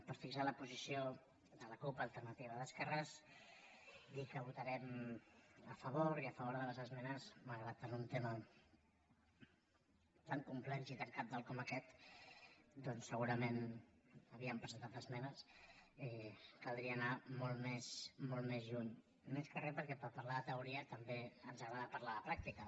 per fixar la posició de la cup · alternativa d’esquer·res dir que hi votarem a favor i a favor de les esme·nes malgrat que en un tema tan complex i tan cabdal com aquest doncs segurament hi havíem presentat esmenes caldria anar molt més lluny més que re per·què per parlar de teoria també ens agrada parlar de pràctica